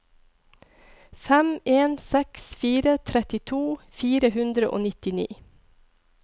fem en seks fire trettito fire hundre og nittini